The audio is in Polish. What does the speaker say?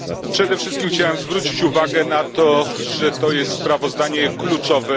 Przede wszystkim chciałem zwrócić uwagę na to, że to jest sprawozdanie kluczowe.